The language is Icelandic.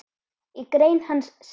Í grein hans segir